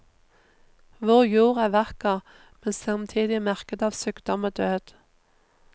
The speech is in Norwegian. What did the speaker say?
Vår jord er vakker, men samtidig merket av sykdom og død.